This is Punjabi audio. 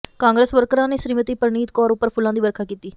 ਕਾਂਗਰਸ ਵਰਕਰਾਂ ਨੇ ਸ੍ਰੀਮਤੀ ਪਰਨੀਤ ਕੌਰ ਉਪਰ ਫੁੱਲਾਂ ਦੀ ਵਰਖਾ ਕੀਤੀ